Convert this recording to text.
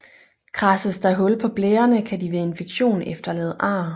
Kradses der hul på blærerne kan de ved infektion efterlade ar